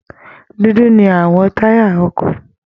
Dúdú ni àwọn táyà ọkọ̀